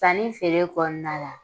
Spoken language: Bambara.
Sanni feere kɔnɔna la